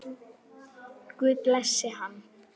Guð blessi hann.